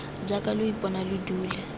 jaaka lo ipona lo dule